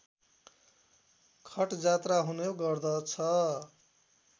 खटजात्रा हुने गर्दछ